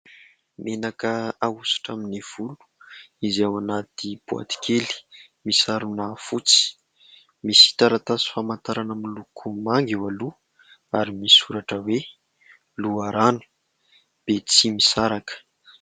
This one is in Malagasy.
Menaka ahosotra amin'ny volo izay ao anaty boaty kely misarona fotsy, misy taratasy famantarana miloko manga eo aloha ary misoratra hoe : Loharano Betsimisaraka.